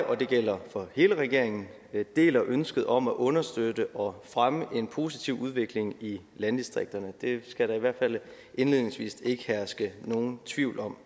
og det gælder for hele regeringen deler ønsket om at understøtte og fremme en positiv udvikling i landdistrikterne det skal der i hvert fald indledningsvis ikke herske nogen tvivl om